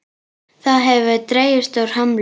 Það hefur dregist úr hömlu.